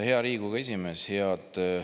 Hea Riigikogu esimees!